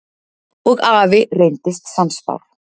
Og afi reyndist sannspár.